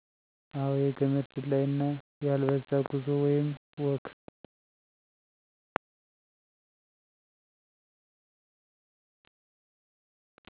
አወ የገመድ ዝላይ እና ያልበዛ ጉዞ ወይም ወክ